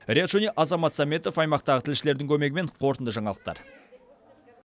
риат шони азамат сәметов аймақтағы тілшілердің көмегімен қорытынды жаңалықтар